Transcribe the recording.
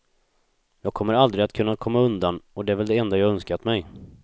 Jag kommer aldrig att kunna komma undan, och det är väl det enda jag önskat mig.